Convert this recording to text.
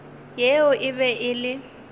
yeo e be e le